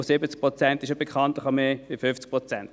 Und 70 Prozent ist bekanntlich mehr als 50 Prozent.